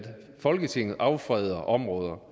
folketinget affreder områder